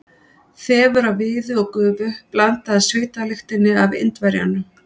Þefur af viði og gufu blandaðist svitalyktinni af Indverjanum.